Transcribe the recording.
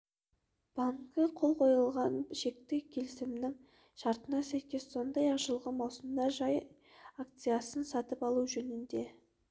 банкі қол қойылған шекті келісімнің шартына сәйкес сондай-ақ жылғы маусымда жай акциясын сатып алу жөнінде